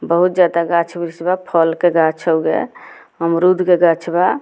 बहुत ज़्यादा गाछ-उछ बा फल के गाछ उगे अमरूद के गाछ बा।